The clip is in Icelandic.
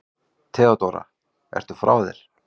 THEODÓRA: Ertu frá þér?